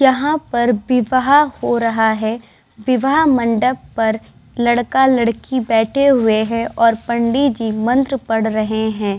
यहाँ पर विवाह हो रहा है विवाह मंडप पर लड़का-लड़की बैठे हुए है और पंडीजी मन्त्र पढ़ रहे है।